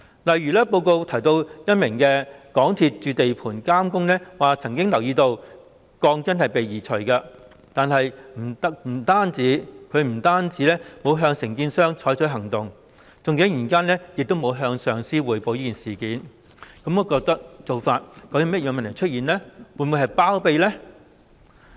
例如報告提到一名港鐵公司駐地盤監工曾經留意到鋼筋被移除，但是，他不但沒有向承建商採取行動，更沒有向上司匯報事件，當中究竟有甚麼問題，是否想包庇某人呢？